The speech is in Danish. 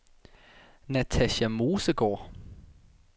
Natasja Mosegaard